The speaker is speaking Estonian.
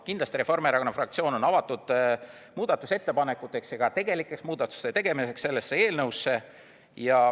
Kindlasti on Reformierakonna fraktsioon avatud muudatusettepanekuteks ja ka tegelikuks muudatuste tegemiseks sellesse eelnõusse.